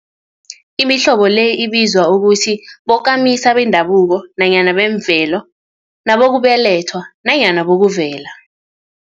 Imihlobo le ibizwa ukuthi bokamisa bendabuko nanyana bemvelo, nabokubelethwa nanyana bokuvela.